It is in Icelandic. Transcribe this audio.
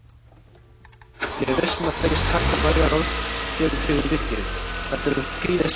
Ég er viss um að þeir taka vægar á þér fyrir vikið, þetta eru prýðismenn